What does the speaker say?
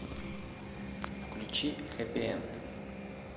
включи хэппи энд